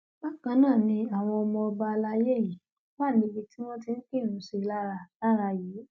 bákan náà ni àwọn ọmọ ọba alayé yìí wà níbi tí wọn ti kírun sí i lára lára yìí